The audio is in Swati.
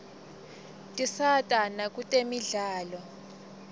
tisata nakutemidlalo